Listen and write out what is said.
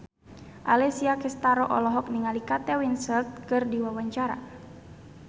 Alessia Cestaro olohok ningali Kate Winslet keur diwawancara